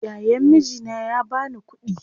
Yayan mijina ya bani kuɗi